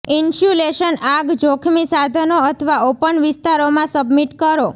insulation આગ જોખમી સાધનો અથવા ઓપન વિસ્તારોમાં સબમિટ કરો